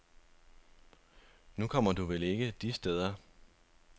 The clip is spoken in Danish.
Nu kommer du vel ikke de steder.